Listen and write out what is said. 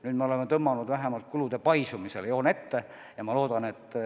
Nüüd oleme vähemalt kulude paisumisele joone ette tõmmanud.